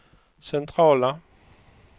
centrala